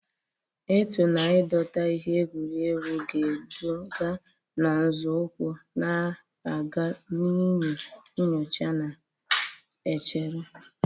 Ịtụ na dọta ihe egwuregwu ga-eduga na nzọụkwụ na-aga n'ihu nyocha na-echere.